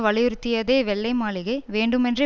வலியுறுத்தியதை வெள்ளை மாளிகை வேண்டுமென்றே